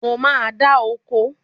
Bẹ́ẹ̀ni, mo máa ń dáa oko